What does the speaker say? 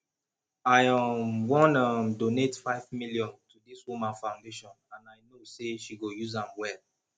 i um wan um donate five million to dis woman foundation and i know say she go use am well